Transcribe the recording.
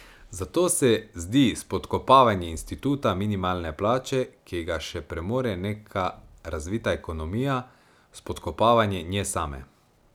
Zato se zdi spodkopavanje instituta minimalne plače, ki ga še premore neka razvita ekonomija, spodkopavanje nje same.